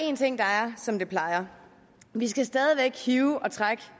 en ting der er som det plejer at være vi skal stadig væk hive og trække